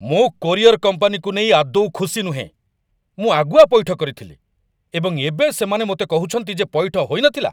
ମୁଁ କୋରିଅର୍‌ କମ୍ପାନୀକୁ ନେଇ ଆଦୌ ଖୁସି ନୁହେଁ। ମୁଁ ଆଗୁଆ ପଇଠ କରିଥିଲି, ଏବଂ ଏବେ ସେମାନେ ମୋତେ କହୁଛନ୍ତି ଯେ ପଇଠ ହୋଇନଥିଲା!